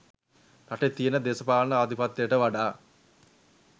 රටේ තියෙන දේශපාන ආධිපත්‍යයට වඩා